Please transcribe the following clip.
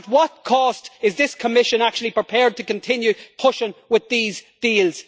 At what cost is this Commission actually prepared to continue pushing with these deals?